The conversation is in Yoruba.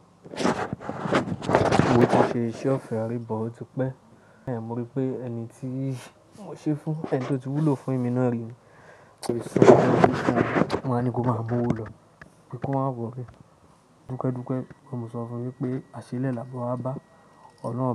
Mo ti ṣe iṣẹ́ ọ̀fẹ́ rii but o ti pẹ̀, mo rí pé ẹni tí mo ṣe fún, ẹni tó ti wúlò fún mi náà rí ni mo waa ní kó máa owò lọ. Pe ko maá wọlé. Dúpe dipe pe mo sọ fún mi wípé, "àṣélẹ̀ làbọ́ wábá.